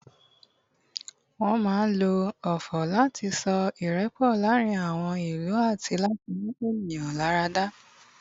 wan ma n lo ofò lati so irepo laarin àwọn ìlú ati láti mú ènìyàn lára yá